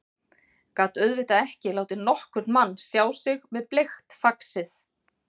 Gat auðvitað ekki látið nokkurn mann sjá sig með bleikt faxið.